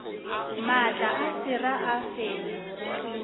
maatla a sera a fenywa